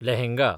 lehenga